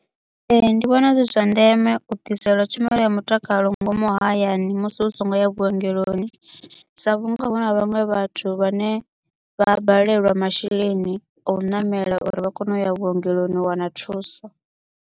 Ee, ndi vhona zwi zwa ndeme u ḓiselwa tshumelo ya mutakalo ngomu hayani musi u so ngo ya vhuongeloni, sa vhunga hu na vhaṅwe vhathu vhane vha a balelwa masheleni a u namela uri vha kone u ya vhuongeloni u wana thuso.